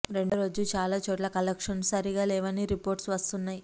రెండో రోజే చాలా చోట్ల కలెక్షన్లు సరిగా లేవని రిపోర్ట్స్ వస్తున్నాయి